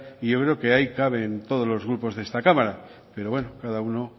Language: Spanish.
y yo creo que ahí caben todos los grupos de esta cámara pero bueno que cada uno